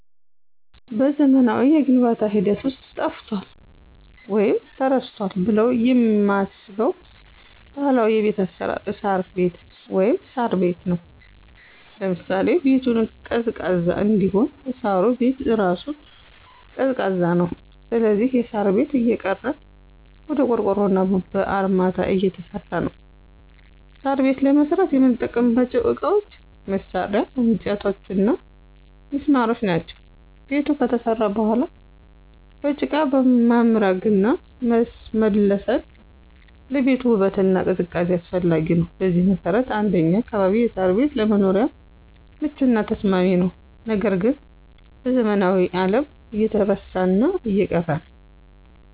በዘመናዊው የግንባታ ሂደት ውስጥ ጠፍቷል ወይም ተረስቷል ብለው የማስበው ባህላዊ የቤት አሰራር እሳር ቤት(ሳር ቤት) ነው። ለምሳሌ -ቤቱን ቀዝቃዛ እንዲሆን እሳሩ ቤት እራሱ ቀዝቃዛ ነው ስለዚህ የሳር ቤት እየቀረ ወደ ቆርቆሮና በአርማታ እየተሰራ ነው። ሳር ቤት ለመስራት የምንጠቀምባቸው እቃዎች፣ መሳርያ፣ እንጨቶችና ሚስማሮች ናቸው። ቤቱ ከተሰራ በኋላ በጭቃ መምረግና መለሰን ለቤቱ ውበትና ቅዝቃዜ አስፈላጊ ነው። በዚህ መሰረት እንደኛ አካባቢ የሳር ቤት ለመኖሪያም ምቹና ተስማሚ ነው ነገር ግን በዘመናዊው አለም እየተረሳና እየቀረ ነው።